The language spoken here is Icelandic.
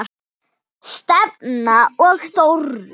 Stefán og Þórunn.